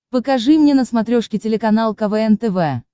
покажи мне на смотрешке телеканал квн тв